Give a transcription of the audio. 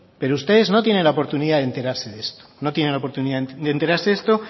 pero ustedes no tienen la oportunidad de enterarse de esto no tienen la oportunidad de enterarse esto